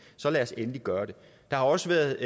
så lad os endelig gøre det der har også været